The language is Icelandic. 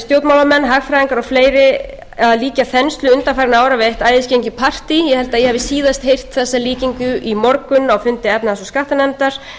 stjórnmálamenn hagfræðingar og fleiri að lýsa þenslu undanfarinna ára við eitt æðisgengið partí ég held að ég hafi síðast heyrt þessa líkingu í morgun á fundi efnahags og skattanefndar